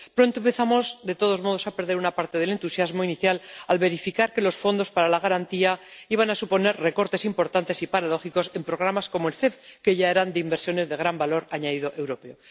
Pero pronto empezamos, de todos modos, a perder una parte del entusiasmo inicial al verificar que los fondos para la garantía iban a suponer recortes importantes y paradójicos en programas como el MEC, que ya eran de inversiones de gran valor añadido europeo.